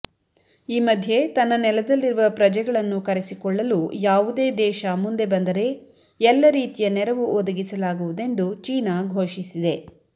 ಈ ಮಧ್ಯೆ ತನ್ನ ನೆಲದಲ್ಲಿರುವ ಪ್ರಜೆಗಳನ್ನು ಕರೆಸಿಕೊಳ್ಳಲು ಯಾವುದೇ ದೇಶ ಮುಂದೆ ಬಂದರೆ ಎಲ್ಲರೀತಿಯ ನೆರವು ಒದಗಿಸಲಾಗುವುದೆಂದು ಚೀನಾ ಘೋಷಿಸಿದೆ